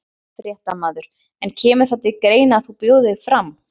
Fréttamaður: En kemur það til greina að þú bjóðir þig fram?